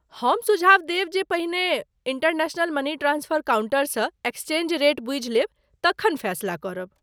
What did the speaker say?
हम सुझाव देब जे पहिने इंटरनेशनल मनी ट्रांस्फर काउंटरसँ एक्सचेंज रेट बूझि लेब तखन फैसला करब।